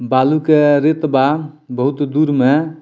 बालू के रीत बा बहुत दूर में।